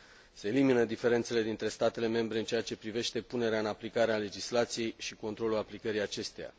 Se elimină diferențele dintre statele membre în ceea ce privește punerea în aplicare a legislației și controlul aplicării acesteia.